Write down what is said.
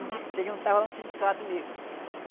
A gente se juntava lá no sindicato mesmo.